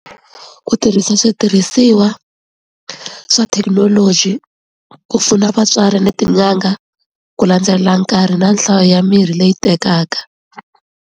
Ku tirhisa switirhisiwa swa thekinoloji ku pfuna vatswari ni tin'anga ku landzelela nkarhi na nhlayo ya mirhi leyi tekaka.